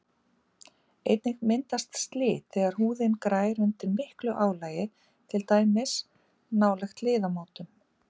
Einnig myndast slit þegar húðin grær undir miklu álagi, til dæmis nálægt liðamótum.